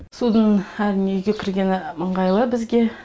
судың әрине үйге кіргені ыңғайлы бізге